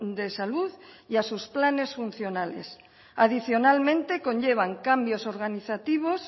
de salud y a sus planes funcionales adicionalmente conllevan cambios organizativos